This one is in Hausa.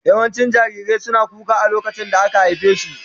Yawancin jarirai suna kuka a lokacin da aka haife su.